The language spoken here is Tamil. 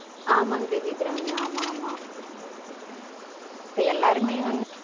ஆமாங்க தேவி அபிராமி ஆமா ஆமா இப்ப எல்லாருமே வந்து